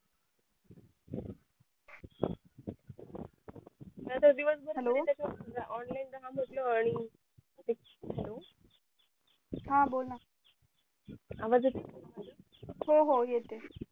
नाहीतर दिवस भर त्याच्यात च hello हा बोल ना आवाज येतोय हो हो येतेय